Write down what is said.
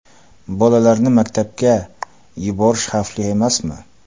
Bolalarni maktabga yuborish xavfli emasmi?